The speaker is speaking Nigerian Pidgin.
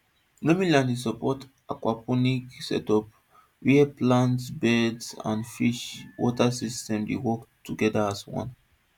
loamy land dey support aquaponics setup where plant beds and fish water system dey work together as one